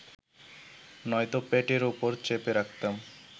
নয়তো পেটের ওপর চেপে রাখতাম